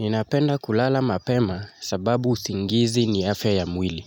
Ninapenda kulala mapema sababu usingizi ni afya ya mwili.